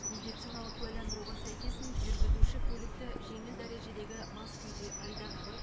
медициналық куәландыруға сәйкес жүргізуші көлікті жеңіл дәрежедегі мас күйде айдаған